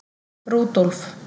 Rúdólf